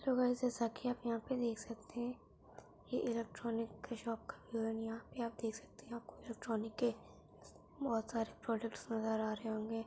तो गाइस जैसा की आप यहां पे देख सकते है यह इलेक्ट्रॉनिक शॉप देख सकते हैं इलेक्ट्रॉनिक क बहुत सारे प्रोडक्ट नजर आ रहै होंगे।